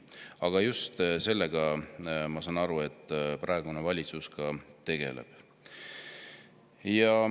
Aga just sellega, ma saan aru, praegune valitsus tegeleb.